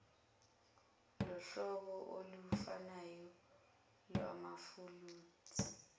lohlobo olufanayo lwamathuluzi